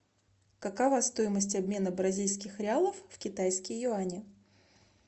какова стоимость обмена бразильских реалов в китайские юани